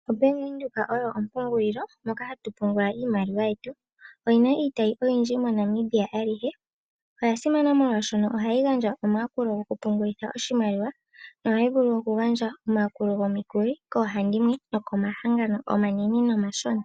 Obank Windhoek oyo ompungulilo moka hatu pungula iimaliwa yetu. Oyina iitayi oyindji moNamibia alihe. Oya simana molwaashono ohayi gandja omayakulo gokupungulitha oshimaliwa. Nohayi vulu okugandja omayakulo gomikuli koohandimwe nokomahangano omanene nomashona.